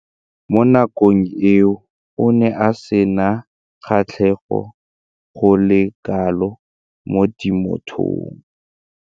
Mo nakong eo o ne a sena kgatlhego go le kalo mo temothuong.